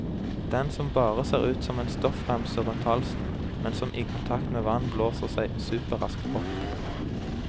Den som bare ser ut som en stoffremse rundt halsen, men som i kontakt med vann blåser seg superraskt opp.